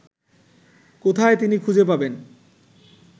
কোথায় তিনি খুঁজে পাবেন